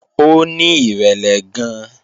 Ó ní ìrẹ̀lẹ̀ gan-an